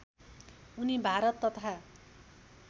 उनी भारत तथा